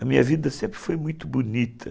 A minha vida sempre foi muito bonita.